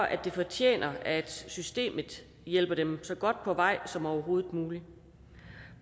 at de fortjener at systemet hjælper dem så godt på vej som overhovedet muligt